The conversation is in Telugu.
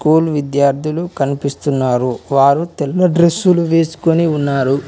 స్కూల్ విద్యార్థులు కనిపిస్తున్నారు వారు తెల్ల డ్రెస్సులు వేసుకొని ఉన్నారు.